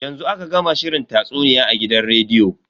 Yanzu aka gama shirin tatsuniya a gidan rediyo.